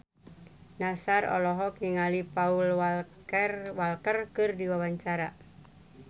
Nassar olohok ningali Paul Walker keur diwawancara